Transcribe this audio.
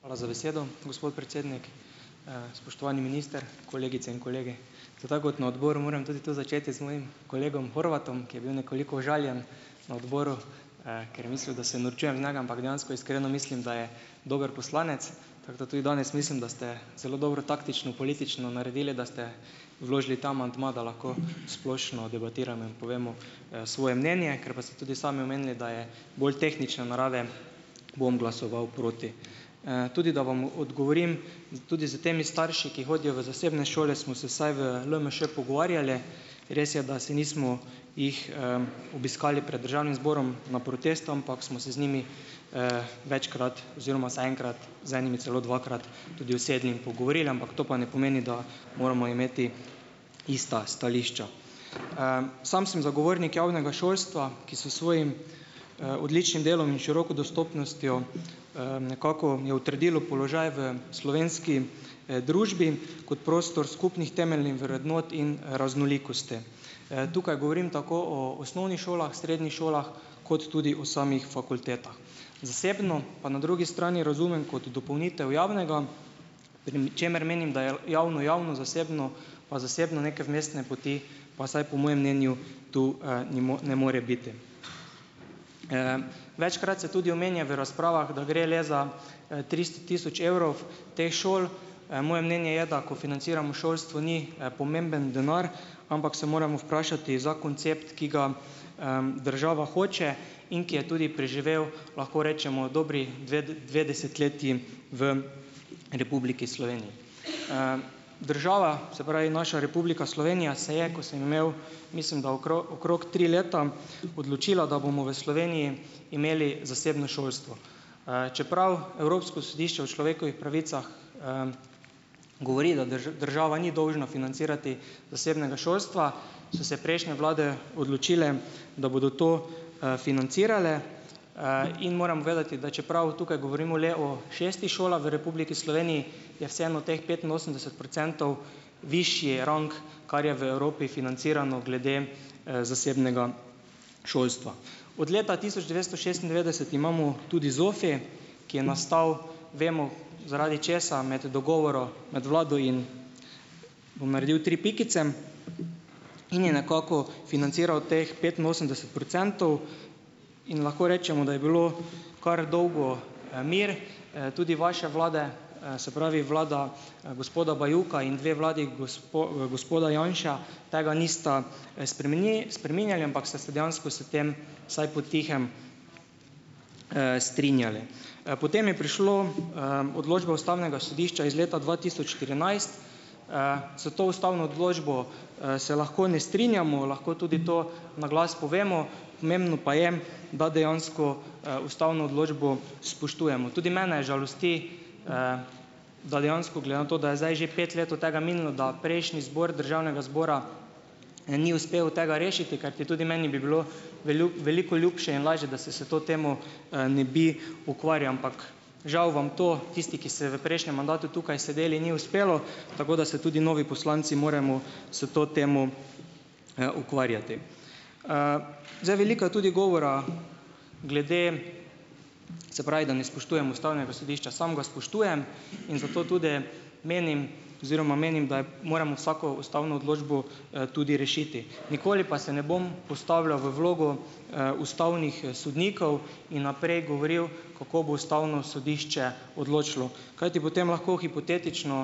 Hvala za besedo, gospod predsednik. Spoštovani minister, kolegice in kolegi. To tako kot na odboru, moram tudi tu začeti z mojim kolegom Horvatom, ki je bil nekoliko užaljen na odboru, ker je mislil, da se norčujem iz njega, ampak dejansko iskreno mislim, da je dober poslanec, tako da tudi danes mislim, da ste zelo dobro taktično, politično naredili, da ste vložili ta amandma, da lahko splošno debatiramo in povemo, svoje mnenje, ker pa ste tudi sami omenili, da je bolj tehnične narave, bom glasoval proti. Tudi, da vam odgovorim, tudi s temi starši, ki hodijo v zasebne šole, smo se vsaj v LMŠ pogovarjali res je, da se nismo, jih, obiskali pred državnim zborom na protestu, ampak smo se z njimi, večkrat oziroma vsaj enkrat, z enimi celo dvakrat, tudi usedli in pogovorili, ampak to pa ne pomeni, da moramo imeti ista stališča. Sam sem zagovornik javnega šolstva, ki s svojim, odličnim delom in široko dostopnostjo, nekako je utrdilo položaj v slovenski, družbi kot prostor skupnih temeljnih vrednot in raznolikosti. Tukaj govorim tako o osnovnih šolah, srednjih šolah kot tudi o samih fakultetah. Zasebno pa na drugi strani razumem kot dopolnitev javnega, prim čemer menim, da je javno, javno, zasebno pa zasebno, neke vmesne poti pa vsaj po mojem mnenju tu, ne ne more biti. Večkrat se tudi omenja v razpravah, da gre le za, tristo tisoč evrov teh šol. Moje mnenje je da, ko financiramo šolstvo, ni, pomemben denar, ampak se moramo vprašati za koncept, ki ga, država hoče in ki je tudi preživel, lahko rečemo, dobri dve dve desetletji v Republiki Sloveniji. Država, se pravi naša Republika Slovenija, se je, ko sem imel, mislim da okrog tri leta, odločila, da bomo v Sloveniji imeli zasebno šolstvo. Čeprav Evropsko sodišče o človekovih pravicah govori, da država ni dolžna financirati zasebnega šolstva, so se prejšnje vlade odločile, da bodo to, financirale, in moram povedati, da čeprav tukaj govorimo le o šestih šolah v Republiki Sloveniji, je vseeno teh petinosemdeset procentov višji rang, kar je v Evropi financirano glede, zasebnega šolstva. Od leta tisoč devetsto šestindevetdeset imamo tudi ZOFI, ki je nastal, vemo, zaradi česa, med dogovorom med vlado in, bom naredil tri pikice, in je nekako financiral teh petinosemdeset procentov in lahko rečemo, da je bilo kar dolgo, mir. Tudi vaše vlade, se pravi, vlada, gospoda Bajuka in dve vladi gospoda Janše tega nista spremenili, spreminjali, ampak sta se dejansko s tem, vsaj po tihem, strinjali. Potem je prišla, odločba ustavnega sodišča iz leta dva tisoč trinajst. S to ustavno odločbo, se lahko ne strinjamo, lahko tudi to naglas povemo, pomembno pa je, da dejansko, ustavno odločbo spoštujemo. Tudi mene žalosti, da dejansko, glede na to, da je zdaj že pet let od tega minilo, da prejšnji zbor državnega zbora, ni uspel tega rešiti, karti tudi meni bi bilo velju veliko ljubše in lažje, da se s to temo, ne bi ukvarjal, ampak, žal vam to, tisti, ki ste v prejšnjem mandatu tukaj sedeli, ni uspelo, tako da se tudi novi poslanci moramo s to temo, ukvarjati. Zdaj, veliko je tudi govora glede, se pravi, da ne spoštujemo ustavnega sodišča. Sam ga spoštujem in zato tudi menim oziroma menim, da, moramo vsako ustavno odločbo, tudi rešiti, nikoli pa se ne bom postavljal v vlogo, ustavnih sodnikov in naprej govoril, kako bo ustavno sodišče odločilo, kajti potem lahko hipotetično,